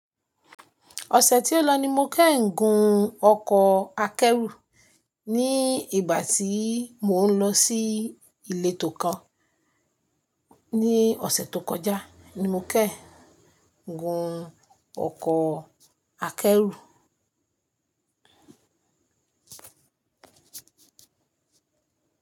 Ọ̀sẹ̀ tí ó lọ ni mo kẹ́ẹ̀in gun ọkọ̀ akẹ́rù ní ìgbà tí mò ń lọ sí ilé tò kan. Ní ọ̀sẹ̀ tó kọjá ni mo kẹ́ẹ̀ gun ọkọ̀ akẹ́rù.